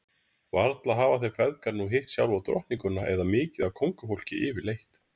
Varla hafa þeir feðgar nú hitt sjálfa drottninguna eða mikið af kóngafólki yfirleitt?